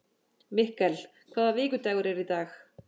Mikkel, hvaða vikudagur er í dag?